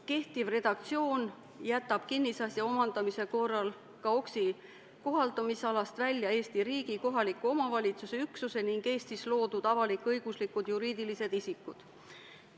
Kehtiv redaktsioon jätab kinnisasja omandamise korral KAOKS-i kohaldumisalast välja Eesti riigi, kohaliku omavalitsuse üksuse ning Eestis loodud avalik-õiguslikud juriidilised isikud.